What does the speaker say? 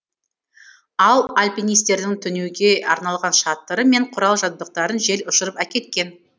ал альпинистердің түнеуге арналған шатыры мен құрал жабдықтарын жел ұшырып әкеткен